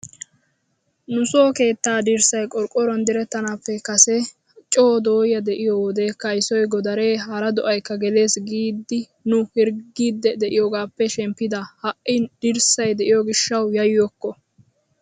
Nuso keettaa dirssay qorqqoruwan direttanaappe kase coo doya de"iyoo wode kaysoy, godaree, hara do"aykka geelees giidi nu hirggiiddi de"iyoogaappe shemppida. Ha"i dirssay de"iyoo gishshawu yayyokko.